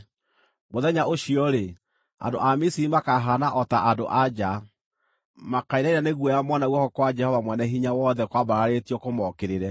Mũthenya ũcio-rĩ, andũ a Misiri makahaana o ta andũ-a-nja. Makainaina nĩ guoya mona guoko kwa Jehova Mwene-Hinya-Wothe kwambararĩtio kũmookĩrĩre.